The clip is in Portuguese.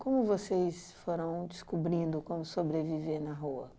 Como vocês foram descobrindo como sobreviver na rua?